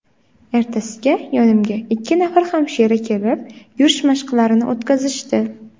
Ertasiga yonimga ikki nafar hamshira kelib, yurish mashqlarini o‘tkazishdi.